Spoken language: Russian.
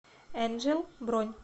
энджел бронь